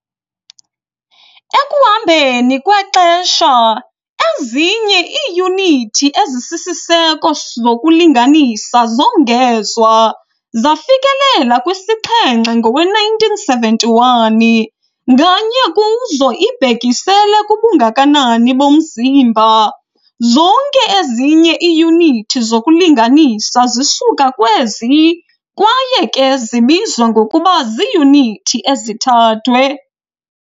Ekuhambeni kwexesha, ezinye iiyunithi ezisisiseko zokulinganisa zongezwa, zafikelela kwisixhenxe ngowe-1971, nganye kuzo ibhekisela kubungakanani bomzimba. Zonke ezinye iiyunithi zokulinganisa zisuka kwezi kwaye ke zibizwa ngokuba ziiyunithi ezithathwe.